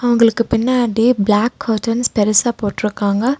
அவங்களுக்கு பின்னாடி black curtains பெருசா போட்ருக்காங்க.